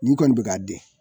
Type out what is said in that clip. Nin kɔni be ka den